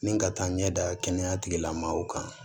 Ni ka taa ɲɛ da kɛnɛya tigilamaaw kan